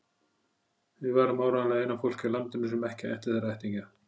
Við værum áreiðanlega eina fólkið á landinu sem ekki ætti þar ættingja.